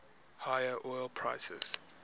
higher oil prices